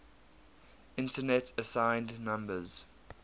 internet assigned numbers